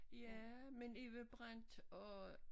Ja men Eva Brandt og